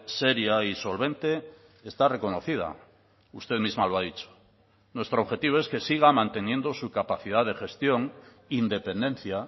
seria y solvente está reconocida usted misma lo ha dicho nuestro objetivo es que siga manteniendo su capacidad de gestión independencia